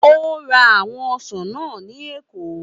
Ó ra àwọn ọsàn náà ní Èkó